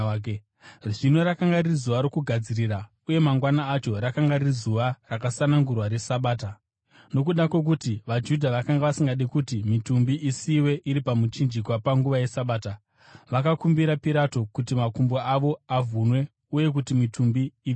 Zvino rakanga riri zuva rokugadzirira, uye mangwana acho, rakanga riri zuva rakasanangurwa reSabata. Nokuda kwokuti vaJudha vakanga vasingadi kuti mitumbi isiyiwe iri pamuchinjikwa panguva yeSabata, vakakumbira Pirato kuti makumbo avo avhunwe uye kuti mitumbi ibviswe.